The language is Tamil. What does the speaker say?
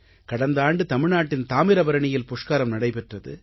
கடந்த ஆண்டு தமிழ்நாட்டின் தாமிரபரணியில் புஷ்கரம் நடைபெற்றது